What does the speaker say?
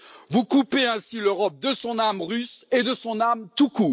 Vous coupez ainsi l'Europe de son âme russe et de son âme tout